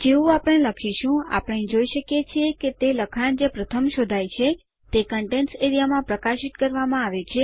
જેવું આપણે લખીશું આપણે જોઈ શકીએ છીએ કે તે લખાણ જે પ્રથમ શોધાય છે તે કન્ટેન્ટ્સ એઆરઇએ માં પ્રકાશિત કરવામાં આવેલ છે